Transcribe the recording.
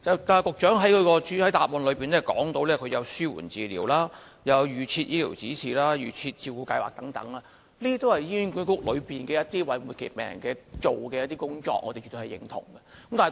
局長在主體答覆中提到紓緩治療、預設醫療指示和"預設照顧計劃"等安排，這些都是醫管局為末期病人所做的工作，我們是絕對認同的。